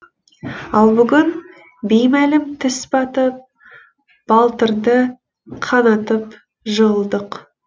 ал бүгін беймәлім тіс батып балтырды қанатып жығылдық